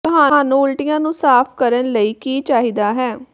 ਤੁਹਾਨੂੰ ਉਲਟੀਆਂ ਨੂੰ ਸਾਫ ਕਰਨ ਲਈ ਕੀ ਚਾਹੀਦਾ ਹੈ